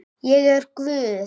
Ég er guð.